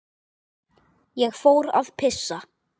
Ég fór að pissa.